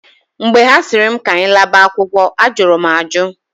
Mgbe ha sịrị m k'anyị laba akwụkwọ, ajụrụ m ajụ.